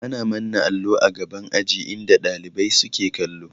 Ana manna allo a gaban aji inda ɗalibai suke kallo